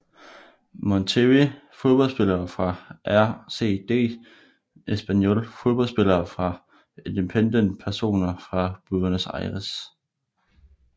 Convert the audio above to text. Monterrey Fodboldspillere fra RCD Espanyol Fodboldspillere fra Independiente Personer fra Buenos Aires